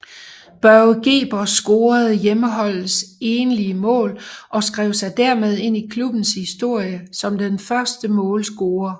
Børge Gerber scorede hjemmeholdets enlige mål og skrev sig dermed ind i klubbens historie som den første målscorer